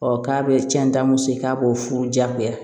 k'a bɛ cɛnta muso ye k'a b'o furu diyagoya